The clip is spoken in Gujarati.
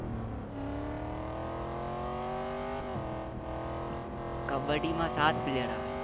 કબબડી માં સાત player આવે